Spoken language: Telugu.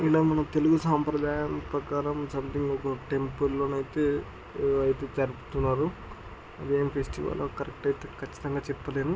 ఈయన మన తెలుగు సాంప్రధాయ ప్రకారం సంథింగ్ ఒక టెంపుల్ లోనైతే ఆ ఇది జరుపుతున్నారు. ఇదేం ఫెస్టివల్ లో కరెక్ట్ అయితే కచ్చితంగా చెప్పలేను.